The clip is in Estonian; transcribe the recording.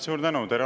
Suur tänu!